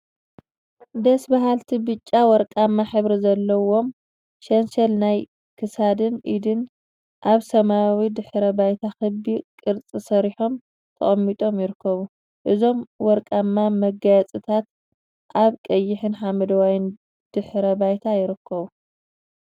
ደስ በሃልቲ ብጫ ወርቃማ ሕብሪ ዘለዎም ሸንሸል ናይ ክሳድን ኢድን አብ ሰማያዊ ድሕረ ባይታ ክቢ ቅርፂ ሰሪሖም ተቀሚጦም ይርከቡ፡፡ እዞም ወርቃማ መጋየፂታ አብ ቀይሕን ሓመደዋይን ድሕረ ባይታ ይርከቡ፡፡